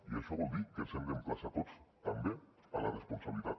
i això vol dir que ens hem d’emplaçar tots també a la responsabilitat